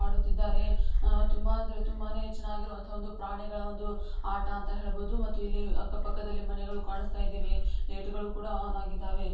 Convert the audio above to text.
ಮಾಡುತ್ತಿದ್ದಾರೆ ತುಂಬಾ ಅಂದ್ರೆ ತುಂಬಾನೇ ಚೆನ್ನಾಗಿರುವಂತಹ ಒಂದು ಪ್ರಾಣಿಗಳ ಒಂದು ಆಟ ಅಂತ ಹೆಳಬಹುದು ಮತ್ತು ಇಲ್ಲಿ ಅಕ್ಕಪಕ್ಕದಲ್ಲಿ ಮನೆಗಳು ಕಾಣಸ್ತಾ ಇದಾವೆ ಮತ್ತು ಲೈಟು ಗಳು ಆನ್‌ ಇದ್ದಾವೆ .